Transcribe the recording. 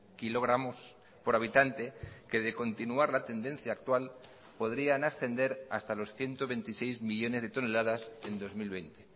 kilogramos por habitante que de continuar la tendencia actual podrían ascender hasta los ciento veintiséis millónes de toneladas en dos mil veinte